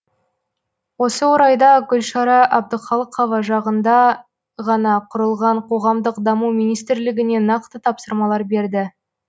осы орайда гүлшара әбдіқалықова жақында ғана құрылған қоғамдық даму министрлігіне нақты тапсырмалар берді